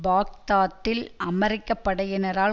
பாக்தாத்தில் அமெரிக்க படையினரால்